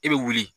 I bɛ wuli